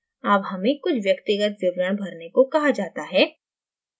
अब हमें कुछ व्यक्तिगत विवरण भरने को कहा जाता है